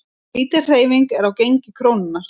Lítil hreyfing er á gengi krónunnar